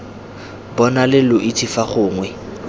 bonale lo itse fa gongwe